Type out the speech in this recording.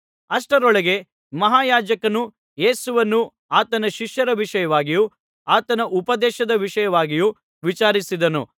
ಅಷ್ಟರೊಳಗೆ ಮಹಾಯಾಜಕನು ಯೇಸುವನ್ನು ಆತನ ಶಿಷ್ಯರ ವಿಷಯವಾಗಿಯೂ ಆತನ ಉಪದೇಶದ ವಿಷಯವಾಗಿಯೂ ವಿಚಾರಿಸಿದನು